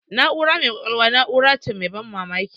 Na'ura mai kwakwalwa na'ura ce mai ban mamaki.